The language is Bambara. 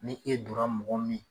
Ni e donra mɔgɔ min